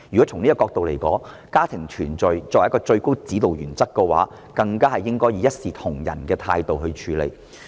從這個角度來說，家庭團聚作為一個最高指導原則，政府更加應該以一視同仁的態度來處理。